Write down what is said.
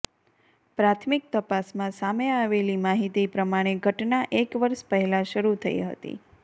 પ્રાથમિક તપાસમાં સામે આવેલી માહિતી પ્રમાણે ઘટના એક વર્ષ પહેલા શરૂ થઈ હતી